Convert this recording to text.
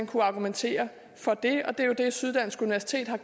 kunnet argumentere for det og det er jo det syddansk universitet her